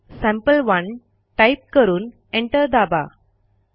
cat संपे1 type करून enter दाबा